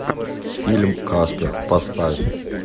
фильм каспер поставь